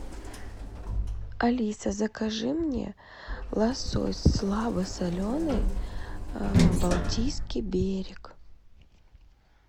алиса закажи мне лосось слабосоленый балтийский берег